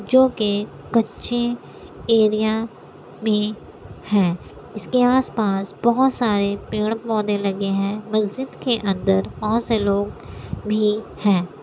जो के कच्चे एरिया में है। इसके आस-पास बोहोत सारे पेड़-पोधे लगे हैं। मस्जिद के अंदर बोहोत से लोग भी हैं।